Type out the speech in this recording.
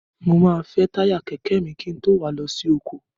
Mo máa fẹ́ táyà kẹ̀kẹ́ mi kí n tó wà á lọ sí oko.